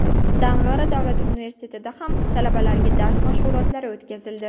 Dang‘ara davlat universitetida ham talabalarga dars mashg‘ulotlari o‘tkazildi.